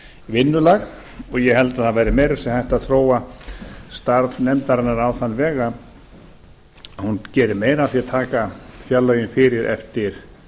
vinnulag ég held að það verði meira að segja hægt að þróa starf nefndarinnar á þann veg að hún geri meira af því að taka fjárlögin fyrir eftir